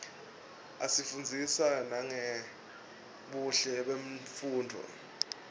asifundzisa nangebuhle bemfunduo